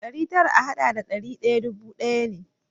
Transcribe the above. Ɗari tara a haɗa da ɗari ɗaya dubu ɗaya ne.